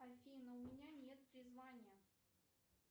афина у меня нет призвания